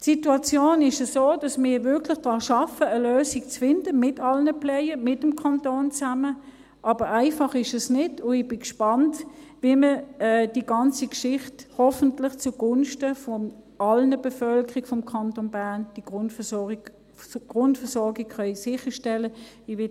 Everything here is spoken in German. Die Situation ist so, dass wir wirklich daran arbeiten, eine Lösung zu finden, zusammen mit allen Playern und mit dem Kanton, aber einfach ist es nicht, und ich bin gespannt, wie man die ganze Geschichte hoffentlich zugunsten der ganzen Bevölkerung des Kantons Bern … wie man die Grundversorgung sicherstellen kann.